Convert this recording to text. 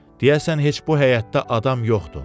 Deyəsən heç bu həyətdə adam yoxdur.